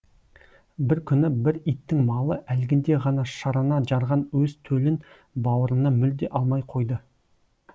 бір күні бір иттің малы әлгінде ғана шарана жарған өз төлін бауырына мүлде алмай қойды